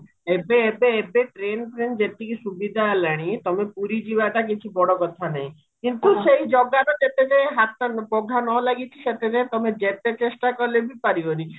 ଏବେ ଏବେ ଏବେ train ଫ୍ରେନ୍ ଯେତିକି ସୁବିଧା ହେଲାଣି ତମେ ପୁରୀ ଯିବାଟା କିଛି ବଡ କଥା ନାହିଁ କିନ୍ତୁ ସେଇ ଜଗାର ଯେତେ ଯାଏ ହାତ ପଘା ନ ଲାଗିଚି ସେତେ ଯାଏ ତମେ ଯେତେ ଚେଷ୍ଟା କଲେ ବି ପାରିବନି